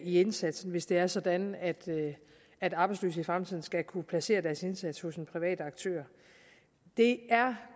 i indsatsen hvis det er sådan at at arbejdsløse i fremtiden skal kunne placere deres indsats hos en privat aktør jeg